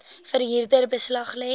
verhuurder beslag lê